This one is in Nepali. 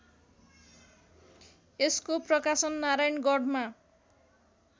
यसको प्रकाशन नारायणगढमा